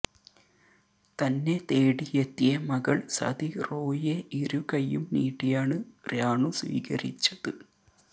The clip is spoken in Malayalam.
തന്നെ തേടിയെത്തിയ മകൾ സതി റോയിയെ ഇരുകൈയും നീട്ടിയാണ് രാണു സ്വീകരിച്ചത്